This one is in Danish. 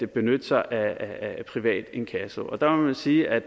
benytte sig af privat inkasso der må vi sige at